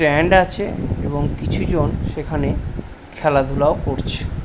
Stand আছে এবং কিছু জন সেখানে খেলাধুলাও করছে।